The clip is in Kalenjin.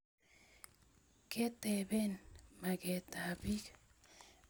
ketapen maket ap pik